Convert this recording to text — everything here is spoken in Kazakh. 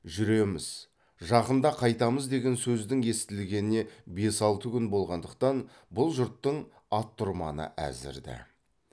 жүреміз жақында қайтамыз деген сөздің естілгеніне бес алты күн болғандықтан бұл жұрттың ат тұрманы әзір ді